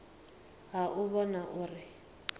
ha u u vhona uri